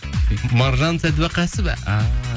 маржан сәдуақасова ааа